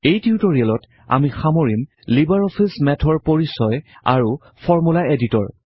এই টিউটৰিয়েলত আমি সামৰিম লিবাৰ অফিচ মেথৰ পৰিচয় আৰু ফৰ্মূলা এডিটৰ